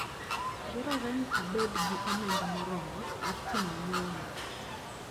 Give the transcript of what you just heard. Dwarore ni abed gi omenda moromo mar timo nyiewo mara.